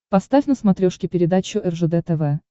поставь на смотрешке передачу ржд тв